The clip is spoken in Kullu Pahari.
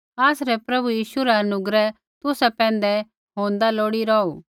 आसरै प्रभु यीशु रा अनुग्रह तुसा पैंधै होन्दा लोड़ी रौहू